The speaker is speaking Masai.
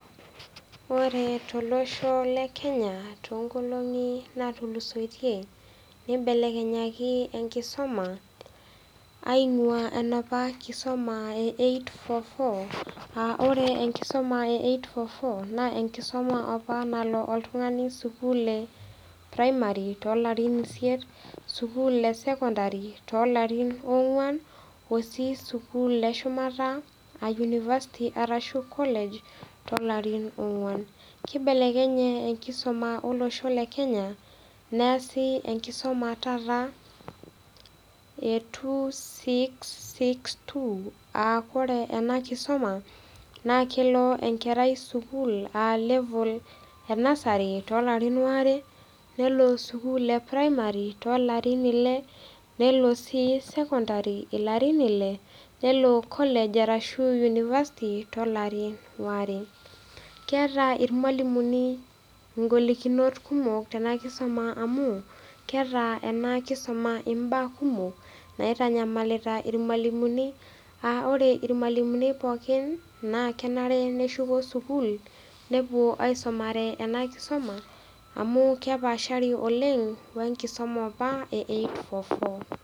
Ore tolosho le Kenya too inkolong'i naatulusoitie, neibelekenyaki enkisoma aing'uaa enoopa kisoma e eight-four-four aa ore enkisuma e eight-four-four naa enkisoma opa nalo oltung'ani enkisoma e premari too larin isiet, sukuul e sekondari too ilarin oong'wan o sii sukuul e shumata a yunifasti anaa kolej too ilarin oong'wan. Keibelekenye enkisoma o losho le Kenya, neasi enkisoma taata, enkisuma e taata e two- six-six-two aa ore ena kisoma naa kelo enkerai sukuul aa level e Nursery too ilarin waare, nelo sukuul e premari too ilarin ile, nelo sii sekondari ilarin ile nelo kolej arashu unifasti too ilari waare. Keata ilmwalimuni ing'olikinot kumok tena kisuma amu keata ena kisuma imbaa kumok, naitanyamalita ilwalimuni, aa ore ilwalimuni pookin, naa kenare neshuko sukuul, nepuo aisomare ena kisoma amu kepaashari oleng' we enkisoma opa e eight-four-four.